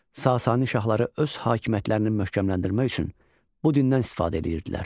Sasani şahları öz hakimiyyətlərini möhkəmləndirmək üçün bu dindən istifadə edirdilər.